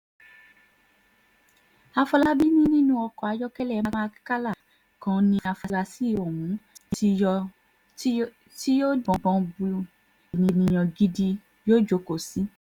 àfọlábí ni nínú ọkọ̀ ayọ́kẹ́lẹ́ mark ccala kan ní àfúráṣí ohun tí yóò díbọ́n bíi ènìyàn gidi yóò jókòó sí